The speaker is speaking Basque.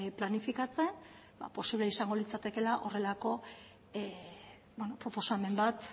planifikatzen posible izango litzatekeela horrelako proposamen bat